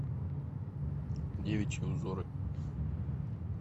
девичьи узоры